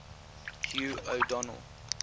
hugh o donel